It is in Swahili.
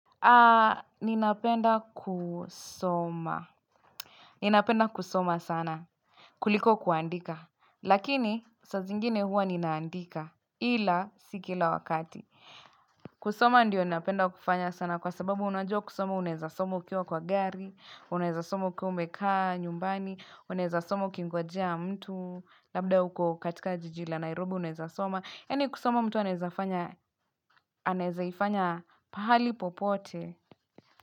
Aaaa, ninapenda kusoma. Ninapenda kusoma sana. Kuliko kuandika. Lakini, saa zingine huwa ninaandika. Ila, si kila wakati. Kusoma ndiyo ninapenda kufanya sana kwa sababu unajua kusoma unaeza soma ukiwa kwa gari, unaeza soma ukiwa umekaa nyumbani, unaeza soma ukingojea mtu, labda uko katika jiji la Nairobi unaeza soma. Yani kusoma mtu anezaifanya pahali popote.